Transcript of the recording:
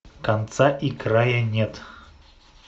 конца и края нет